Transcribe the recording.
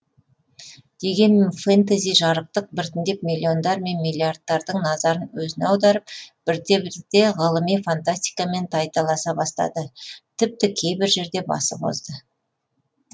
дегенмен фэнтези жарықтық біртіндеп миллиондар мен миллиардтардың назарын өзіне аударып бірте бірте ғылыми фантастикамен тайталаса бастады тіпті кейбір жерде басып озды